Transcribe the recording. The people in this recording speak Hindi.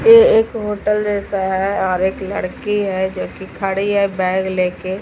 ये एक होटल जैसा है और एक लड़की है जो की खड़ी है बैग लेके--